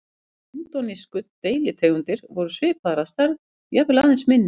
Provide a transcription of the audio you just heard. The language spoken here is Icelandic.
Hinar indónesísku deilitegundirnar voru svipaðar að stærð, jafnvel aðeins minni.